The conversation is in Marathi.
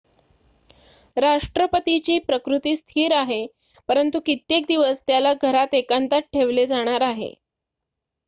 राष्ट्रपतीची प्रकृती स्थिर आहे परंतु कित्येक दिवस त्याला घरात एकांतात ठेवले जाणार आहे